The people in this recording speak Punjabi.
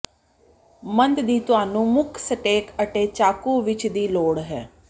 ਸੰਦ ਦੀ ਤੁਹਾਨੂੰ ਮੁੱਖ ਸਟੈਕ ਅਤੇ ਚਾਕੂ ਵਿੱਚ ਦੀ ਲੋੜ ਹੈ